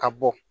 Ka bɔ